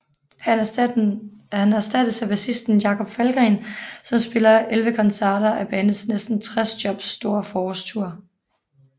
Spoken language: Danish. Han erstattes af bassisten Jakob Falgren som spiller 11 koncerter af bandets næsten 60 jobs store forårstour